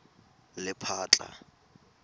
lephatla